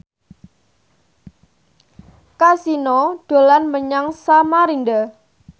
Kasino dolan menyang Samarinda